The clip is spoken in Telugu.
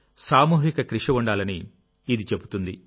సామూహిక కృషి ఉండాలని ఇది చెబుతుంది